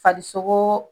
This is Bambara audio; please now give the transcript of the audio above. Farisokoo